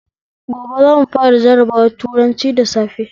Gobe zamu fara jabawar turanci da safe